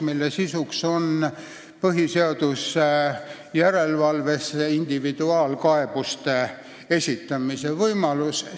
Selle sisu on põhiseaduse järelevalves individuaalkaebuste esitamise võimaluse kehtestamine.